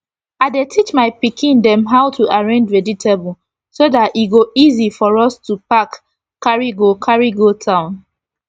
i dey teach my pikin dem how to arrange vegetable so dat e go easy for us to pack carry go carry go town